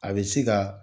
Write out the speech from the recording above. A bɛ se ka